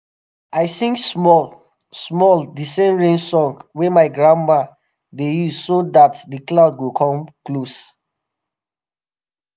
i sing small-small the same rain song wey my grandma dey use so that the clouds go come close